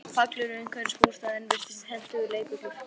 Pallurinn umhverfis bústaðinn virtist hentugur leikvöllur.